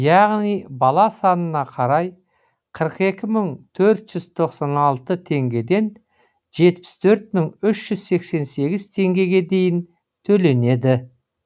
яғни бала санына қарай қырық екі мың төрт жүз тоқсан алты теңгеден жетпіс төрт мың үш жүз сексен сегіз теңгеге дейін төленеді